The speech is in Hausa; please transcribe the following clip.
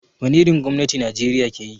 Wani irin gwamnati Najeriya ke yi?